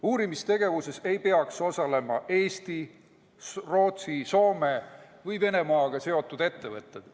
Uurimistegevuses ei peaks osalema Eesti, Rootsi, Soome või Venemaaga seotud ettevõtted.